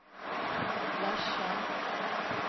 Lesja